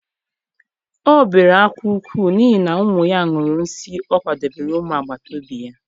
O bere ákwá nke ukwuu, n'ihi na ụmụ ya ṅụrụ nsịị ọ kwadebere ụmụ agbata obi ya.